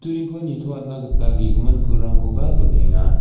turiko nitoatna gita ge·gimin pulrangkoba donenga.